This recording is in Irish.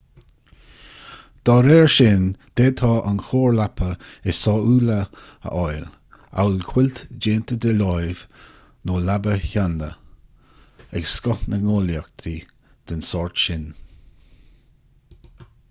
dá réir sin d'fhéadfá an chóir leapa is sóúla a fháil amhail cuilt déanta de láimh nó leaba sheanda ag scoth na ngnólachtaí den sórt sin